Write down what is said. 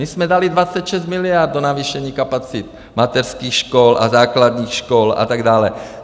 My jsme dali 26 miliard do navýšení kapacit mateřských škol a základních škol a tak dále.